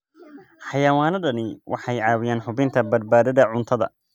Xayawaanadani waxay caawiyaan hubinta badbaadada cuntada.